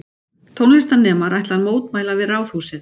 Tónlistarnemar ætla að mótmæla við Ráðhúsið